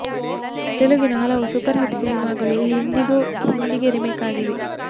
ತೆಲುಗಿನ ಹಲವು super hit ಸಿನಿಮಾಗಳು ಈ ಹಿಂದೆಯೂ ಹಿಂದಿಗೆ ರೀಮೇಕ್ ಆಗಿವೆ